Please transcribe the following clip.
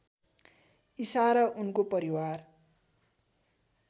ईसा र उनको परिवार